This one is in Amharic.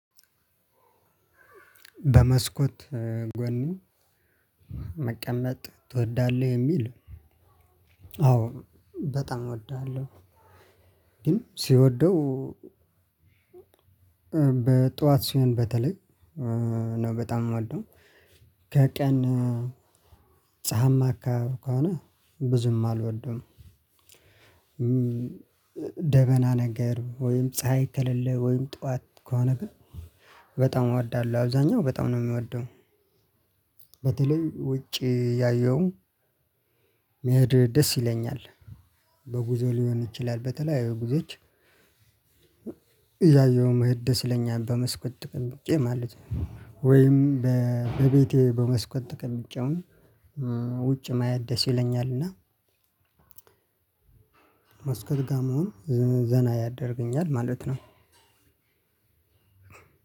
በመስኮት ጎኑ መቀመጥ ትወዳለህ? የሚል አዎ በጣም እወዳለሁ። ሲወደው በጧት ሲሆን በተለይ ነው በጣም የምወደው። ከቀን ፀሀይማ አካባቢ ከሆነ ብዙም አልወደውም። ደበና ነገር ወይም ፀሀይ ከሌለ ወይም ጠዋት ከሆነ ግን በጣም እወዳለሁ። አብዛኛው በጣም ነው የሚወደው በተለይ ውጪ እያየው መሄድ ደስ ይለኛል። በጉዞ ሊሆን ይችላል በተለያዩ ጉዞዎች። መሄድ ደስ ይለኛል በመስኮት ተቀምጬ ማለት ነው። ወይም በቤቴ በመስኮት ተቀምጬ አሁን ውጪ ማየት ደስ ይለኛል። እና መስኮት ጋር መሆን ዘና ያደርገኛል ማለት ነው።